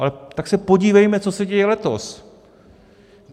Ale tak se podívejme, co se děje letos.